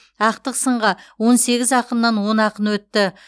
ақтық сынға он сегіз ақыннан он ақын өтті